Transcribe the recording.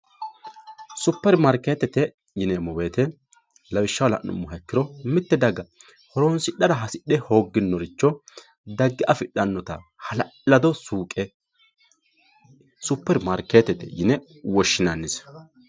superimaarikeettete yineemmo woyiite lawishshaho la'nummoha ikkiro mitte daga horoonsidhara hasidhe hoogginoricho dagge afidhannota hala'lado suuqe superimaarikeettete yine woshshinannise